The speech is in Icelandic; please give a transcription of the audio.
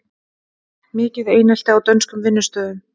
Mikið einelti á dönskum vinnustöðum